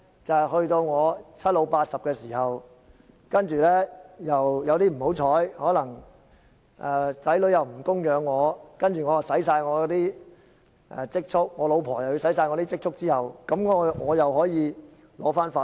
就是當我七老八十的時候，不幸地子女不供養我，而我和太太都花盡所有積蓄，這個時候我便可以申請法援。